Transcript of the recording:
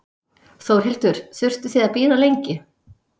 Þórhildur: Þurftuð þið að bíða lengi?